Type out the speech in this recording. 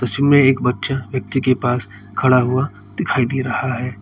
इसमें एक बच्चा व्यक्ति के पास खड़ा हुआ दिखाई दे रहा है।